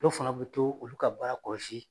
Dɔw fana bɛ to olu ka baara kɔlɔsi.